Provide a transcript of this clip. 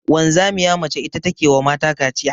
Wanzamiya mace ita ta ke wa mata kaciya.